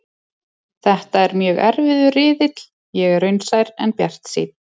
Þetta er mjög erfiður riðill, ég er raunsær en bjartsýnn.